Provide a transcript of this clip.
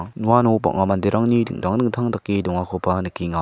uano bang·a manderangni dingtang dingtang dake dongakoba nikenga.